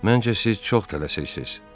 Məncə siz çox tələsirsiniz.